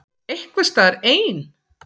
Einhvers staðar ein.